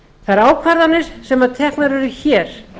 þær ákvarðanir sem teknar eru hér